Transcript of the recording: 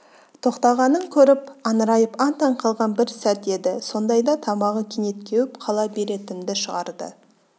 тоқтағанын көріп аңырайып аң-таң қалған бір сәт еді сондайда тамағы кенет кеуіп қала беретінді шығарды